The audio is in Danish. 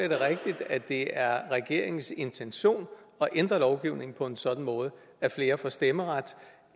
at det er regeringens intention at ændre lovgivningen på en sådan måde at flere får stemmeret